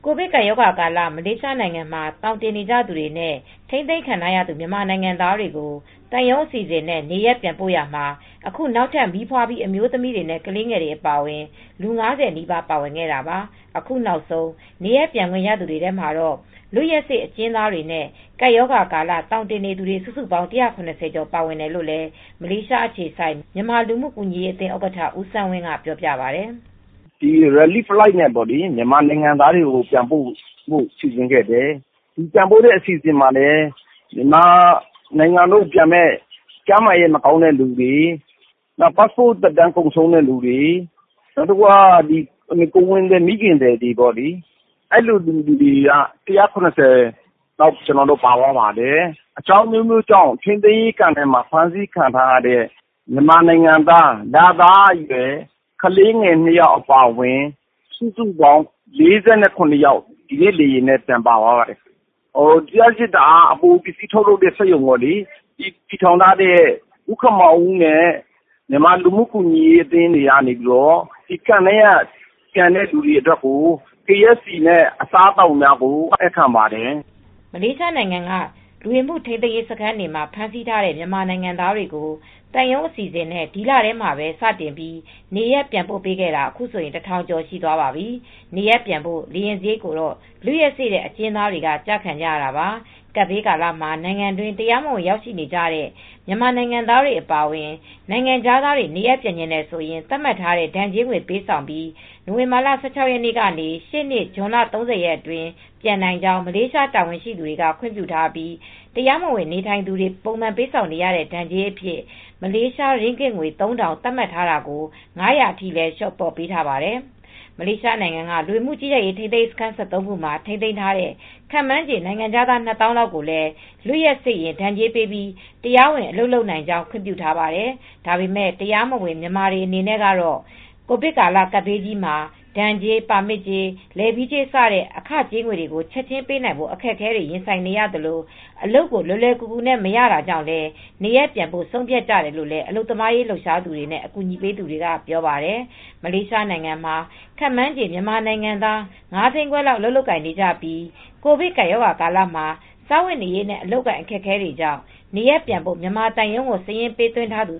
ကိုဗစ်ကပ်ရောဂါကာလ မလေးရှားနိုင်ငံမှာ သောင်တင်နေသူတွေနဲ့ ထိန်းသိမ်းခံထားရသူ မြန်မာနိုင်ငံသားတွေကို သံရုံးအစီအစဉ်နဲ့ နေရပ်ပြန်ပို့နေရာမှာ အခုနောက်ထပ် မီးဖွားပြီး အမျိုးသမီးတွေနဲ့ ကလေးတွေ အပါအဝင် လူ ၅၀ နီးပါး ပါဝင်ခဲ့တာပါ။ အခုနောက်ဆုံး နေရပ်ပြန်ခွင့်ရသူတွေထဲမှာတော့ လွတ်ရက်စေ့ အကျဉ်းသားတွေနဲ့ ကပ်ရောဂါကာလ သောင်တင်နေသူတွေ စုစုပေါင်း ၁၇၀ ကျော် ပါဝင်တယ်လို့လည်း မလေးရှားအခြေစိုက် မြန်မာလူမူကူညီရေးအသင်းဥက္ကဋ္ဌ ဦးစန်းဝင်းက ပြောပါတယ်။ "ကယ်ဆယ်ရေးလေယာဉ်နဲ့ မြန်မာနိုင်ငံသားကို ပြန်ပို့ဖို့ စီစဉ်ခဲ့တယ်။ ပြန်ပို့မယ့်အစီစဉ်ထဲမှာ ကျန်းမာရေးမကောင်းတဲ့သူတွေ ပတ်စ်ပို့စ် သက်တမ်းကုန်ဆုံးတဲ့ သူတွေ ကိုယ်ဝန်ဆောင်မိခင်တွေ အဲဒီလို လူမျိုးအားလုံး ၁၇၀ လောက်ပါသွားတယ် အကြောင်းအမျိုးမျိုးကြောင့် ဖမ်းဆီးခံရတဲ့ ထိန်းသိမ်းရေး စခန်းတွေက ကလေးငယ် ၂ ဦး အပါအဝင် အမျိုးသမီး၊ အမျိုးသား ၄၇ ယောက်ပြန်ပါတယ်။ လျှပ်စစ်အပိုပစ္စည်း ထုတ်လုပ်တဲ့ စက်ရုံတည်ထောင်ထားတဲ့ ဦးခင်မောင်ဦးနဲ့ မြန်မာလူမှုကူညီရေးအသင်းတွေက ထိန်းသိမ်းရေးစခန်းက ပြန်ကြတဲ့လူတွေအတွက် KFC အစားသောက်များ လှူဒါန်းပေးခဲ့ပါတယ်။" မလေးရှားနိုင်ငံက လူဝင်မှု ထိန်းသိမ်းရေးစခန်းတွေမှာ ဖမ်းဆီးထားတဲ့ မြန်မာနိုင်ငံသားတွေကို သံရုံးအစီအစဉ်နဲ့ ဒီလထဲမှာပဲ စတင်ပြီး နေရပ်ပြန်ပို့ပေးခဲ့တာ အခုဆိုရင် ၁,၀၀၀ ကျော် သွားပါပြီ။ နေရပ်ပြန်ဖို့ လေယာဉ်စရိတ်ကိုတော့ လွတ်ရက်စေ့တဲ့ အကျဉ်းသားတွေက ကျခံကြရတာပါ။ ကပ်ဘေးကာလမှာ နိုင်ငံတွင်း တရားမဝင်ရောက်ရှိနေတဲ့ မြန်မာနိုင်ငံသားတွေ အပါအဝင် နိုင်ငံခြားသားတွေ နေရပ်ပြန်ချင်တယ်ဆိုရင် သတ်မှတ်ထားတဲ့ ဒဏ်ကြေးငွေ ပေးဆောင်ပြီး နိုဝင်ဘာလ ၁၆ ရက်နေ့ကနေ ရှေ့နှစ် ဇွန်လ ၃၀ အတွင်း ပြန်နိုင်ကြောင်း မလေးရှား တာဝန်ရှိသူတွေက ခွင့်ပြုထားပြီး တရားမဝင် နေထိုင်သူတွေ ပုံမှန်ပေးဆောင်ကြရတဲ့ ဒဏ်ကြေးအဖြစ် မလေးရှား ရင်းဂစ်ငွေ ၃,၀၀၀ သတ်မှတ်ထားတာကို ၅၀၀ အထိလည်းလျှော့ပေးထားပါတယ်။ မလေးရှားနိုင်ငံက လူဝင်မှုကြီးကြပ်ရေး ထိန်းသိမ်းရေးစခန်း ၁၃ ခုမှာ ထိန်းသိမ်းထားတဲ့ ခန့်မှန်းခြေ နိုင်ငံခြားသား ၂၀,၀၀၀ လောက်ကိုလည်း လွတ်ရက်စေ့ရင် ဒဏ်ကြေးပေးပြီးတရားဝင်အလုပ်လုပ်နိုင်ကြောင်း ခွင့်ပြုထားပါတယ်။ ဒါပေမဲ့ တရားမဝင် မြန်မာတွေအနေနဲ့ကတော့ ကိုဗစ်ကပ်ဘေးကာလမှာ ဒဏ်ကြေး ပါမစ်ကြေး၊ လဲဗီးကြေးစတဲ့ အခကြေးငွေတွေကို ချက်ချင်းပေးနိုင်ဖို့ အခက်အခဲတွေ ရင်ဆိုင်နေရသလို အလုပ်ကို လွယ်လွယ်ကူကူနဲ့မရတာကြောင့်လည်း နေရပ်ပြန်ဖို့ ဆုံးဖြတ်ကြတယ်လို့ အလုပ်သမားရေးလှုပ်ရှားသူတွေနဲ့ အကူအညီပေးသူတွေက ပြောပါတယ်။ မလေးရှားနိုင်ငံမှာ ခန့်မှန်းခြေ မြန်မာနိုင်ငံသား ၅၅၀,၀၀၀ ခွဲလောက်အလုပ်လုပ်ကိုင်နေပြီး ကိုဗစ်ကပ်ရောဂါကာလမှာ စားဝတ်နေရေးနဲ့ အလုပ်အကိုင် အခက်အခဲတွေကြောင့် နေရပ်ပြန်ဖို့ မြန်မာသံရုံးကို စာရင်းပေးသွင်းထားသူ